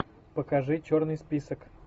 покажи черный список